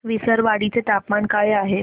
विसरवाडी चे तापमान काय आहे